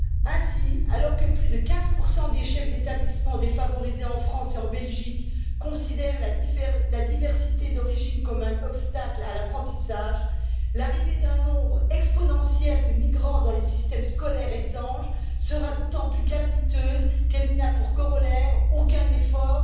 Ainsi, alors que plus de 15 des chefs d'établissements défavorisés en France et en Belgique considèrent la diversité d'origine comme un obstacle à l'apprentissage, l'arrivée d'un nombre exponentiel de migrants dans les systèmes scolaires exsangues sera d'autant plus calamiteuse qu'elle n'a pour corollaire aucun effort